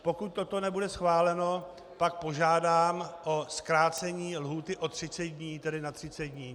Pokud toto nebude schváleno, pak požádám o zkrácení lhůty o 30 dní, tedy na 30 dní.